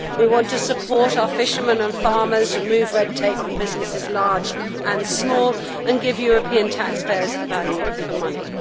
We want to support our fishermen and farmers, remove red tape from businesses large and small, and give European taxpayers value for money.